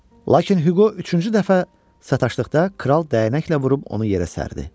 Lakin Huqo üçüncü dəfə sataşdıqda kral dəynəklə vurub onu yerə sərdi.